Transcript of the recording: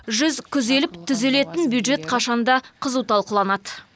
жүз күзеліп түзелетін бюджет қашанда қызу талқыланады